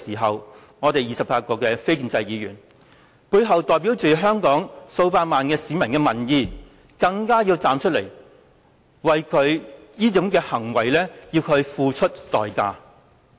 因此，我們28名背後代表着香港數百萬名市民的民意的非建制議員更應該站出來，要求他為這種行為付出代價。